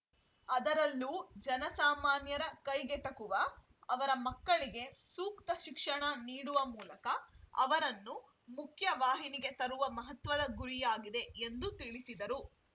ಅದರಲ್ಲೂ ಜನಸಾಮಾನ್ಯರ ಕೈಗೆಟಕುವ ಅವರ ಮಕ್ಕಳಿಗೆ ಸೂಕ್ತ ಶಿಕ್ಷಣ ನೀಡುವ ಮೂಲಕ ಅವರನ್ನು ಮುಖ್ಯವಾಹಿನಿಗೆ ತರುವ ಮಹತ್ವದ ಗುರಿಯಾಗಿದೆ ಎಂದು ತಿಳಿಸಿದರು